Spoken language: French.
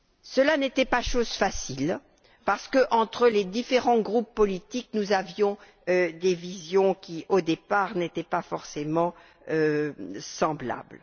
Cela n'était pas chose facile parce qu'entre les différents groupes politiques, nous avions des visions qui, au départ, n'étaient pas forcément semblables.